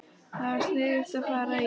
Það var sniðugt að fara í